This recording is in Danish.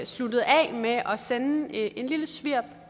sluttede af med at sende et lille svirp